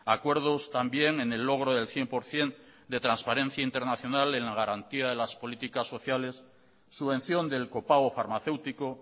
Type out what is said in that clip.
acuerdos también en el logro del cien por ciento de transparencia internacional en la garantía de las políticas sociales subvención del copago farmacéutico